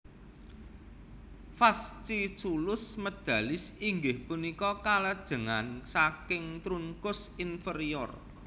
Fasciculus medalis inggih punika kalajengan saking trunkus inferior